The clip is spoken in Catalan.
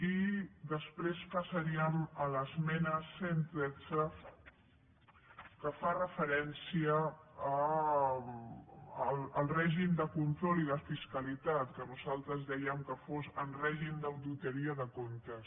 i després passaríem a l’esmena cent i tretze que fa referència al règim de control i de fiscalitat que nosaltres dèiem que fos en règim d’auditoria de comptes